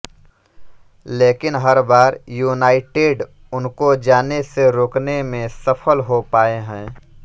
लेकिन हर बार युनाइटेड् उनको जाने से रोकने मे सफल हो पाए है